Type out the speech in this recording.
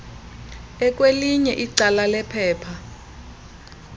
ekwelinye icala lephepha